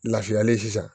Lafiyalen sisan